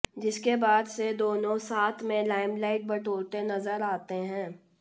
जिसके बाद से दोनों साथ में लाइमलाइट बटोरते नजर आते हैं